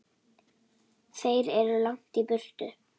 Þeir eru langt í burtu.